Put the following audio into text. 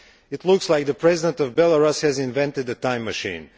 It looks as if the President of Belarus has invented a time machine.